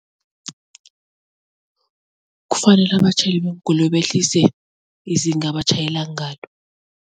Kufanele abatjhayeli beenkoloyi behlise izinga ebatjhayela ngalo.